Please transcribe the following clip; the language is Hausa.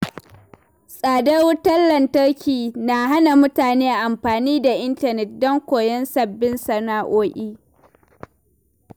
Tsadar wutar lantarki na hana mutane amfani da intanet don koyon sabbin sana’o’i.